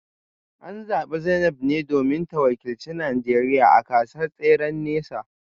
An zabi Zainab ne domin ta wakilci Najeriya a gasar tseren nesa